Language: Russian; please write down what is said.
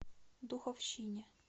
духовщине